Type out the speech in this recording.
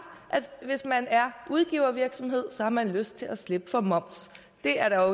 at udgivervirksomhed har man lyst til at slippe for moms det er der